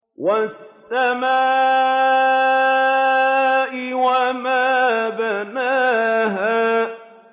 وَالسَّمَاءِ وَمَا بَنَاهَا